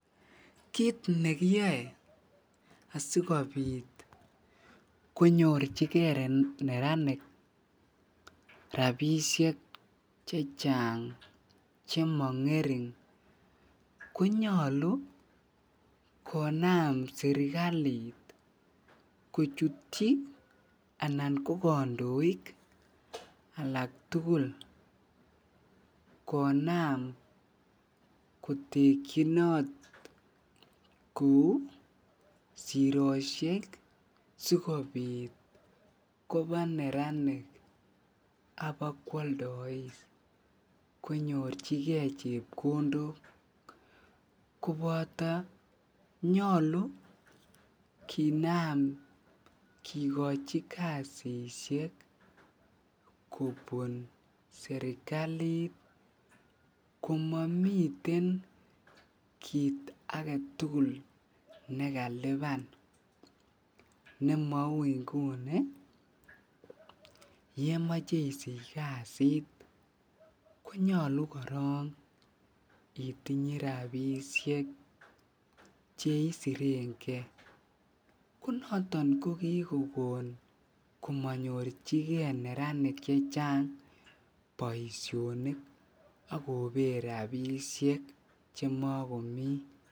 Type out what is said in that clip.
Kiit nekiyoe asikobit konyorchike neranik rabishek chechang chemo ngering konyolu konam serikalit kochutyi anan ko kondoik konaam kotekyinot kou siroshek sikobit koba neranik ak ibakwaldois konyorchike chepkondok koboto nyolu kinaam kikochi kasishek kobun serikalit komomiten kiit aketukul nekaliban nemou inguni yemoche isich kasit konyolu korong itinye rabishek cheisirenge, konoton ko kikokon komonyorchike neranik chechang boishonik ak kobet rabishek chemokomi.